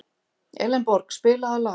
Elenborg, spilaðu lag.